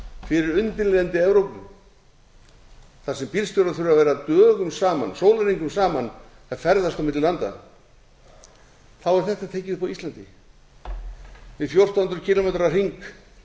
fyrir undirlendi evrópu þar sem bílstjórar þurfa að vera dögum saman sólarhringum saman að ferðast á milli landa þá er þetta tekið upp á íslandi við fjórtán hundruð kílómetra hring